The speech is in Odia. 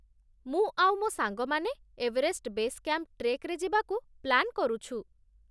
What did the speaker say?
ମୁଁ ଆଉ ମୋ' ସାଙ୍ଗମାନେ ଏଭରେଷ୍ଟ୍ ବେସ୍ କ୍ୟାମ୍ପ୍ ଟ୍ରେକ୍‌ରେ ଯିବାକୁ ପ୍ଲାନ୍ କରୁଛୁ ।